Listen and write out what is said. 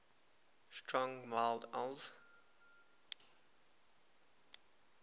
strong mild ales